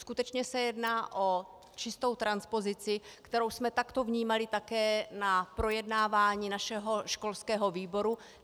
Skutečně se jedná o čistou transpozici, kterou jsme takto vnímali také na projednávání našeho školského výboru.